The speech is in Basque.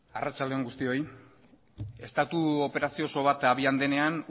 arratsalde on guztioi estatu operazio oso bat abian denean